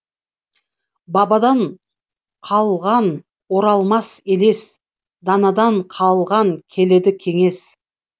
бабадан қалған оралмас елес данадан қалған келелі кеңес